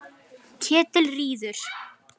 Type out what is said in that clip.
Ketilríður